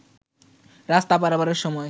রাস্তা পারাপারের সময়